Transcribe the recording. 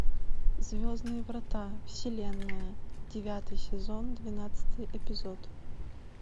звездные врата вселенная девятый сезон двенадцатый эпизод